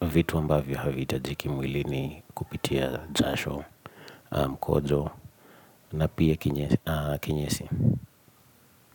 vitu ambavyo havihitajiki mwili ni kupitia jasho mkojo na pia kinyesi.